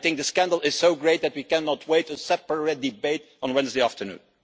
I think the scandal is so great that we cannot wait for a separate debate on Wednesday afternoon.